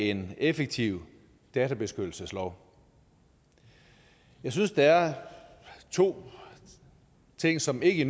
en effektiv databeskyttelseslov jeg synes der er to ting som ikke